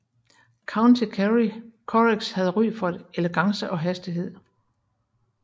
County Kerry currachs havde ry for elegance og hastighed